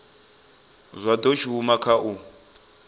zwa do shuma kha u